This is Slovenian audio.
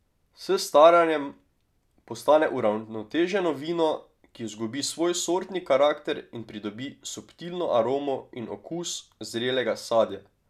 S staranjem postane uravnoteženo vino, ki izgubi svoj sortni karakter in pridobi subtilno aromo in okus zrelega sadja.